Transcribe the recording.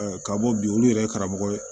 ka bɔ bi olu yɛrɛ ye karamɔgɔ ye